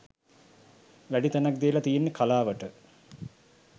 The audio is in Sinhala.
වැඩි තැනක් දීලා තියෙන්නෙ කලාවට.